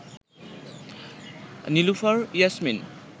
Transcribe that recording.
Nilufar Yasmin